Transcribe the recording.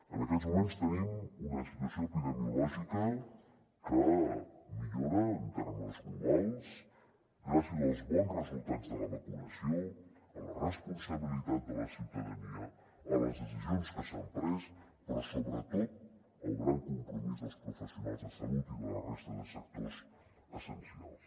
en aquests moments tenim una situació epidemiològica que millora en termes globals gràcies als bons resultats de la vacunació a la responsabilitat de la ciutadania a les decisions que s’han pres però sobretot al gran compromís dels professionals de salut i de la resta de sectors essencials